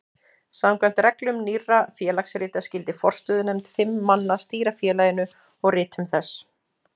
Samkvæmt reglum Nýrra félagsrita skyldi forstöðunefnd fimm manna stýra félaginu og ritum þess.